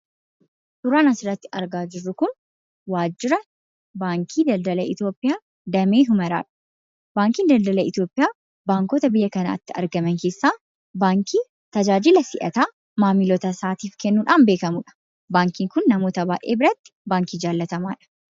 Suuraan asirratti argaa jirru kun waajjira Baankiii Daldala Itoophiyaa Damee Humaraadha. Baankiin Daldala Itoophiyaa baankota biyya kanatti argaman keessaa baankii tajaajila si'ataa maamiltoota isaatiif kennudhaan beekamuu dha. Baankiin kun namoota baay'ee biratti baankii jaallatamaa dha.